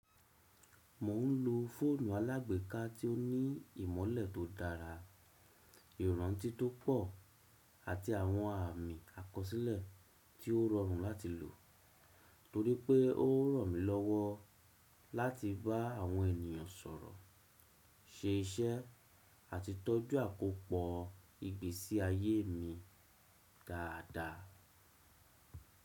Mò ń lo fóònù alágbèéká tí ó ní ìmọ́lẹ̀ tó dára, ìrántí tó pọ̀ àti àwọn àmì àkọsílẹ̀ tí ó rọrùn láti lò, torípẹ́ ó ranmílọ́wọ́ láti bá àwọn ènìyàn sọ̀rọ̀, ṣe iṣẹ́ àti tọ́jú àkópọ̀ ìgbésí ayé mi dáadáa.